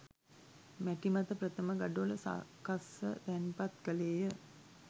මැටි මත ප්‍රථම ගඩොල සකස්ව තැන්පත් කළේ ය